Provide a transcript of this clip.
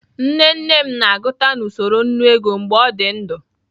Nne nne m na-aguta na usoro nnu ego mgbe o di ndu.